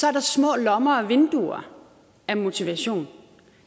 er der små lommer af motivation